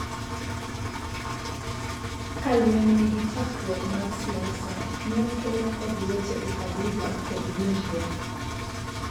ka lweny nigi chakruok mag siasa, ne okele kod weche ukabila kod winjruok